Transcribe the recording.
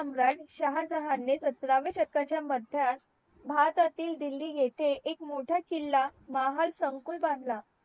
शहाजहाने सतराव्या शतकाच्या मध्यात भारतातील दिल्ली येथे एक मोठा किल्ला महालसंकुल बांधला